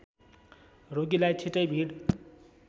रोगीलाई छिटै भिड